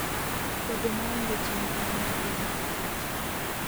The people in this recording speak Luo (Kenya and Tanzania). Bedo maonge chenro mar geng'o tuoche.